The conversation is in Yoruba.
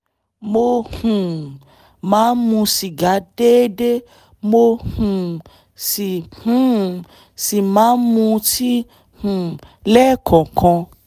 mo um máa ń mu sìgá déédéé mo um sì um sì máa ń mutí um lẹ́ẹ̀kọ̀ọ̀kan